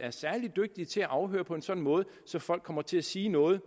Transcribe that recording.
er særlig dygtige til at afhøre på en sådan måde at folk kommer til at sige noget